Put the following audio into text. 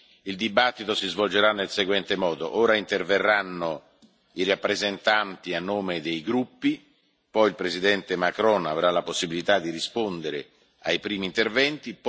La discussione si svolgerà nel modo seguente ora interverranno i rappresentanti a nome dei gruppi, poi il Presidente Macron avrà la possibilità di rispondere ai primi interventi.